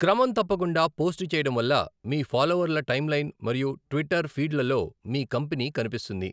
క్రమం తప్పకుండా పోస్ట్ చేయడం వల్ల మీ ఫాలోవర్ల టైమ్లైన్ మరియు ట్విట్టర్ ఫీడ్లలో మీ కంపెనీ కనిపిస్తుంది.